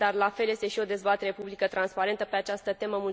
La fel este și o dezbatere publică transparentă pe această temă.